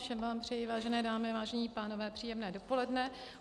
Všem vám přeji, vážené dámy, vážení pánové, příjemné dopoledne.